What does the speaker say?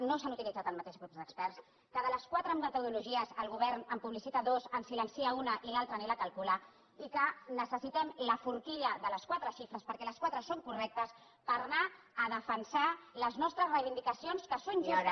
no s’han utilitzat el mateix grup d’experts que de les qua·tre metodologies el govern en publicita dues en silen·cia una i l’altra ni la calcula i que necessitem la forqui·lla de les quatre xifres perquè les quatre són correctes per anar a defensar les nostres reivindicacions que són justes